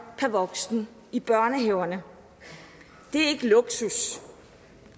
per voksen i børnehaverne det er ikke luksus